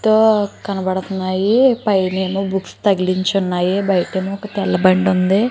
తో కనబడుతున్నాయి పైనేమో బుక్స్ తగిలించి ఉన్నాయి బయటేమో ఒక తెల్ల బండి ఉంది.